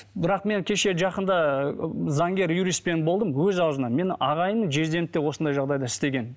бірақ мен кеше жақында заңгер юристпен болдым өз ауызынан менің ағайыным жездемді де осындай жағдайда істеген